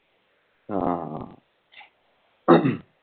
ਹਾਂ